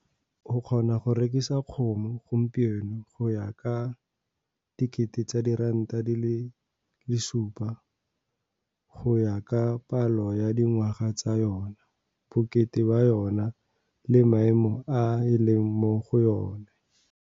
O kgona go rekisa kgomo gompieno go ya ka R7 000, go ya ka palo ya dingwaga tsa yona, bokete ba yona le maemo a e leng mo go one.